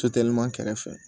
kɛrɛfɛ